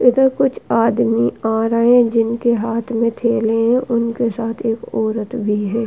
इधर कुछ आदमी आ रहे है जिनके हाथ में थैले है। उनके साथ एक औरत भी है।